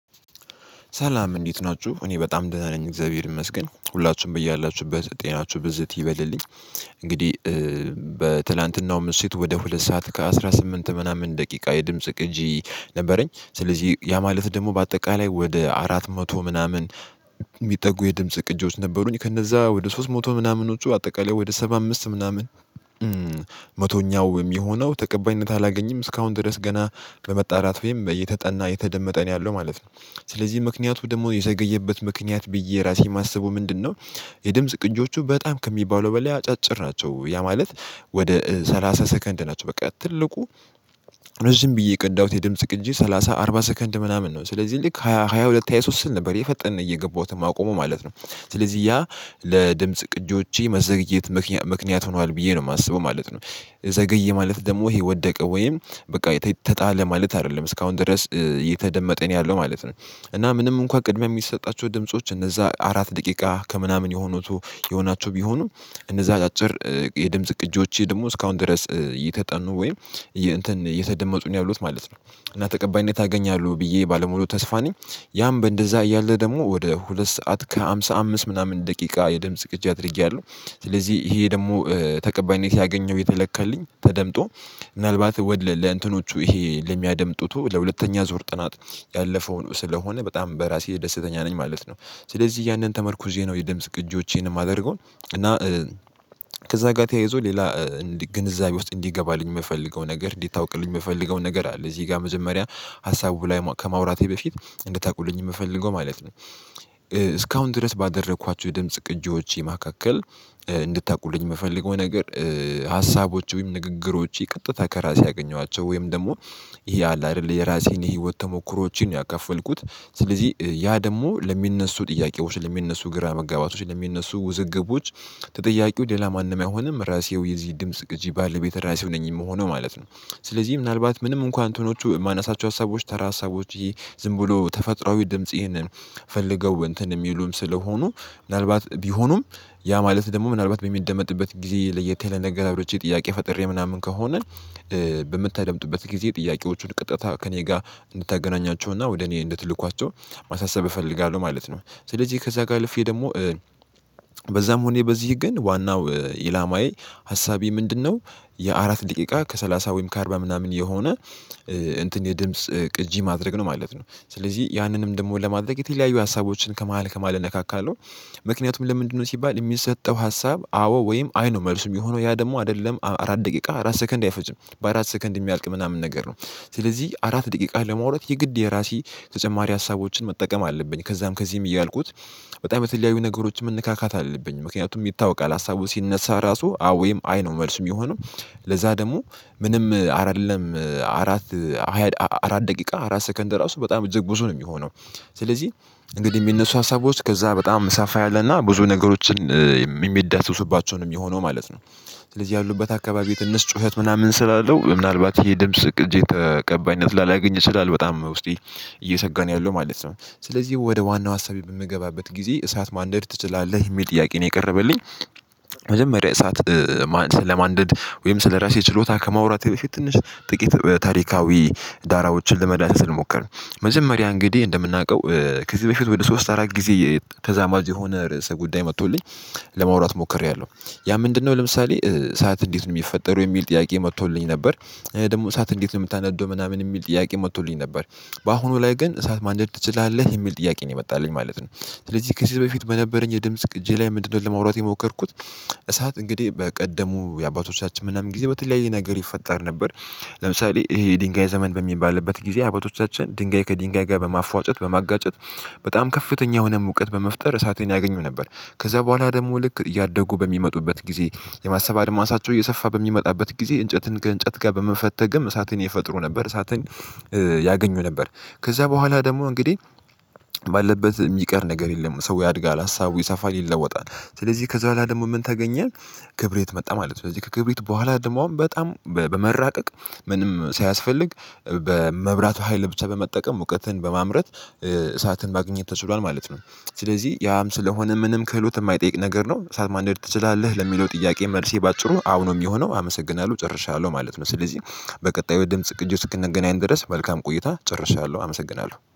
ሰላም እንዴት ናችሁ እኔ በጣም ደህና ነኝ እግዚአብሔር ይመስገን ሁላችሁም ብያላችሁበት ጤናችሁ ብዝት ይበልልኝ። እንግዲህ በትላንትናው ምሽት ወደ ሁለት ሰዓት ከአሥራ ስምንት ምናምን ደቂቃ የድምጽ ቅጂ ነበረኝ ስለዚህ ያ ማለት ደግሞ በአጠቃላይ ወደ አራት መቶ ምናምን የሚጠጉ የድምጽ ቅጂዎች ነበሩኝ ከነዛ ወደ ሶስት መቶ ምናምኖቹ አጠቃላይ ወደ ሰባ አምስት ምናምን መቶኛው እሚሆነው ተቀባይነት አላገኝም እስካሁን ድረስ ገና በመጣራት ወይም የተጠና የተደመጠ ነው ያለው ማለት ነው ስለዚህ ምክንያቱ ደግሞ የዘገየበት ምክንያት ብዬ ራሴ ማስበው ምንድነው የድምጽ ቅጂዎቹ በጣም ከሚባለው በላይ አጫጭር ናቸው ያ ማለት ወደ ሰላሳ ሰከንድ ናቸው በቃ ትልቁ ረዥም ብዬ የቀዳሁት የድምጽ ቅጂ ሰላሳ አርባ ሰከንድ ምናምን ነው ስለዚህ ልክ ሃያ ሁለት ሃያ ሶስት ስል ነበር የፈጠነ እየገባሁትን ማቆሙ ማለት ነው ስለዚህ ያ ለድምጽ ቅጂዎቼ መዘግየት ምክንያት ሆኗል ብዬ ነው የማስበው ማለት ነው። ዘገየ ማለት ደግሞ ይሄ ወደቀ ወይም በቃ የተጣለ ማለት አይደለም እስካሁን ድረስ የተደመጠኝ ያለው ማለት ነው እና ምንም እንኳን ቅድሚያ ሚሰጣቸው ድምጾች እነዛ አራት ደቂቃ ከምናምን የሆኑት የሆናቸው ቢሆኑ እነዛ አጫጭር የድምጽ ቅጂዎቼ ደግሞ እስካሁን ድረስ እየተጠኑ ወይም እየተደመጡ ነው ያሉት ማለት ነው እና ተቀባይነት አገኛለሁ ብዬ ባለሙሉ ተስፋ ነኝ። ያም በእንደዛ እያለ ደግሞ ወደ ሁለት ሰዓት ከሃምሳ አምስት ምናምን ደቂቃ የድምጽ ቅጂ አድርጊያለሁ ስለዚህ ይሄ ደግሞ ተቀባይነት ያገኘው የተለካልኝ ተደምጦ ምናልባት ለእንትኖቹ ይሄ ለሚያደምጡት ለሁለተኛ ዞር ጥናት ያለፈውን ስለሆነ በጣም በራሴ ደስተኛ ነኝ ማለት ነው። ስለዚህ ያንን ተመርኩዜ ነው የድምጽ ቅጂዎቼን ማደርገው እና ከዛ ጋር ተያይዞ ሌላ ግንዛቤ ውስጥ እንዲገባልኝ የምፈልገው ነገር እንዲታውቅልኝ ምፈልገውን ነገር አለ እዚህ ጋር መጀመሪያ ሀሳቡ ላይ ከማውራቴ በፊት እንድታውቁልኝ ምፈልገው ማለት ነው እስካሁን ድረስ ባደረኳቸው የድምጽ ቅጂዎቼ መካከል እንድታውቁልኝ ምፈልገው ነገር ሀሳቦች ወይም ንግግሮቼ ቀጥታ ከራሴ ያገኘዋቸው ወይም ደግሞ ይሄ አለ አይደል የራሴን የህይወት ተሞክሮዎችን ነው ያከፈልኩት ስለዚህ ያ ደግሞ ለሚነሱ ጥያቄዎች ለሚነሱ ግራ መጋባቶች ለሚነሱ ውዝግቦች ተጠያቂው ሌላ ማንም አይሆንም ራሴው የዚህ ድምጽ ግጂ ባለቤት ራሴው ነኝ የምሆነው ማለት ነው። ስለዚህ ምናልባት ምንም እንኳን እንትኖቹ የማነሳቸው ሀሳቦች ተራ ሀሳቦች ዝም ብሎ ተፈጥሮአዊ ድምጽ ይህንን ፈልገው እንትን የሚሉም ስለሆኑ ምናልባት ቢሆኑም ያ ማለት ደግሞ ምናልባት በሚደመጥበት ጊዜ ለየት ያለ ነገር አውርቼ ጥያቄ ፈጥሬ ምናምን ከሆነ በምታደምጡበት ጊዜ ጥያቄዎቹን ቅጥታ ከእኔ ጋር እንድታገናኟቸው እና ወደ እኔ እንድትልኳቸው ማሳሰብ እፈልጋለሁ ማለት ነው። ስለዚህ ከዛ ጋር አልፌ ደግሞ በዛም ሆኜ በዚህ ግን ዋናው ኢላማዬ ሀሳቤ ምንድነው የአራት ደቂቃ ከሰላሳ ወይም ከአርባ ምናምን የሆነ እንትን የድምጽ ቅጂ ማድረግ ነው ማለት ነው ስለዚህ ያንንም ደግሞ ለማድረግ የተለያዩ ሀሳቦችን ከመሃል ከመሃል እነካካለሁ ምክንያቱም ለምንድነው ሲባል የሚሰጠው ሀሳብ አዎ ወይም አይ ነው መልሱ የሚሆነው ያ ደግሞ አይደለም አራት ደቂቃ አራት ሰከንድ አይፈጅም በአራት ሰከንድ የሚያልቅ ምናምን ነገር ነው ስለዚህ አራት ደቂቃ ለማውራት የግድ የራሴ ተጨማሪ ሀሳቦችን መጠቀም አለብኝ ከዛም ከዚህም እያልኩት በጣም የተለያዩ ነገሮችን ምነካካት አለብኝ ምክንያቱም ይታወቃል ሀሳቡ ሲነሳ ራሱ አዎ ወይም አይ ነው መልሱ ሚሆነው ለዛ ደግሞ ምንም አይደለም አራት አራት አራት ደቂቃ አራት ሰከንድ ራሱ በጣም እጅግ ብዙ ነው የሚሆነው ስለዚህ እንግዲህ የሚነሱ ሀሳቦች ከዛ በጣም ሰፋ ያለና ብዙ ነገሮችን የሚዳሰሱባቸው ነው ሚሆነው ማለት ነው። ስለዚህ ያሉበት አካባቢ የትንሽ ጩኸት ምናምን ስላለው ምናልባት ይሄ ድምጽ ቅጂዬ ተቀባይነት ላላገኝ ይችላል። በጣም ውስጤ እየሰጋ ነው ያለው ማለት ነው። ስለዚህ ወደ ዋናው ሀሳቤ በምገባበት ጊዜ እሳት ማንደድ ትችላለህ የሚል ጥያቄ ነው የቀረበልኝ መጀመሪያ እሳት ለማንደድ ወይም ስለራሴ ችሎታ ከመዋራት በፊት ትንሽ ጥቂት ታሪካዊ ዳራዎችን ለመዳሰስ ልሞከር መጀመሪያ እንግዲህ እንደምናውቀው ከዚህ በፊት ወደ ሶስት አራት ጊዜ ተዛማጅ የሆነ ርዕሰ ጉዳይ መጥቶልኝ ለማውራት ሞክሬያለሁ ያ ምንድነው ለምሳሌ እሳት እንዴት ነው ሚፈጠረው? የሚል ጥያቄ መጥቶልኝ ነበር። ደግሞ እሳት እንዴት ነው ምታነደው ምናምን የሚል ጥያቄ መጥቶልኝ ነበር። በአሁኑ ላይ ግን እሳት ማንደድ ትችላለህ የሚል ጥያቄ ነው የመጣልኝ ማለት ነው ስለዚህ ከዚህ በፊት በነበረኝ የድምጽ ቅጂ ላይ ምንድነው ለማውራት የሞከርኩት እሳት እንግዲህ በቀደሙ የአባቶቻችን ምናምን ጊዜ በተለያየ ነገር ይፈጠር ነበር። ለምሳሌ ይሄ የድንጋይ ዘመን በሚባልበት ጊዜ አበቶቻችን ድንጋይ ከድንጋይ ጋር በማፍዋጨት በማጋጨት በጣም ከፍተኛ የሆነ ሙቀት በመፍጠር እሳቴን ያገኙ ነበር ከዛ በኋላ ደግሞ ልክ እያደጉ በሚመጡበት ጊዜ የማሰብ አድማሳቸው እየሰፋ በሚመጣበት ጊዜ እንጨትን ከእንጨት ጋር በመፈተግም እሳትን ይፈጥሩ ነበር እሳትን ያገኙ ነበር ከዛ በኋላ ደግሞ እንግዲህ ባለበት ሚቀር ነገር የለም ሰው ያድጋል ሀሳቡ ይሰፋል ይለወጣል ስለዚህ ከዛ በኋላ ደግሞ ምን ተገኘ ክብሪት መጣ ማለት ነው ስለዚህ ከክብሪት በኋላ ደግሞ አሁን በጣም በመራቀቅ ምንም ሳያስፈልግ በመብራቱ ሀይል ብቻ በመጠቀም ሙቀትን በማምረት እሳትን ማግኝት ተችሏል ማለት ነው ስለዚህ ያም ስለሆነ ምንም ክህሎት እማይጠይቅ ነገር ነው። እሳት ማንደድ ትችላለህ ለሚለው ጥያቄ መልሴ በአጭሩ አዎ ነው ሚሆነው አመሰግናለሁ ጨርሻለሁ ማለት ነው ስለዚህ በቀጣዩ የድምጽ ቅጂ እስክንገናኝ ድረስ መልካም ቆይታ ጨርሻለሁ አመሰግናለሁ።